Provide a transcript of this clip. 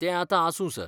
तें आतां आसूं, सर.